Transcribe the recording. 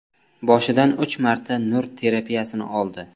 Boshidan uch marta nur terapiyasini oldi.